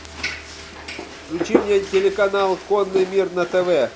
включи мне телеканал конный мир на тв